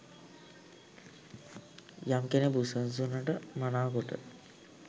යම් කෙනෙක් බුදුසසුනට මනාකොට